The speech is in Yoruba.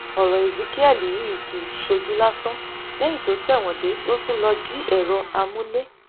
ọrọ ezekiel yìí kì í ṣojú lásán lẹyìn tó tẹwọn dé ló tún lọọ jí èrò amúlé